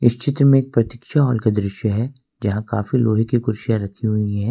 ये चित्र में एक प्रतीक्षा हॉल का दृश्य है जहां काफी लोहे की कुर्सी रखी हुई है।